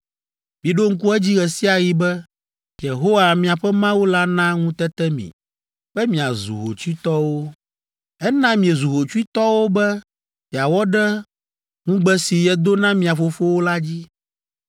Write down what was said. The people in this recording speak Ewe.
Miɖo ŋku edzi ɣe sia ɣi be Yehowa, miaƒe Mawu la na ŋutete mi be miazu hotsuitɔwo. Ena miezu hotsuitɔwo be yeawɔ ɖe ŋugbe si yedo na mia fofowo la dzi.